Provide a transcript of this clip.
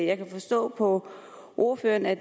jeg kan forstå på ordføreren at